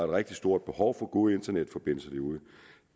rigtig stort behov for gode internetforbindelser derude